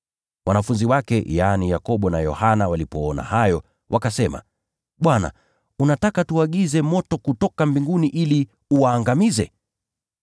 Wanafunzi wake, yaani Yakobo na Yohana, walipoona hayo, wakasema: “Bwana, unataka tuagize moto kutoka mbinguni ili uwaangamize?”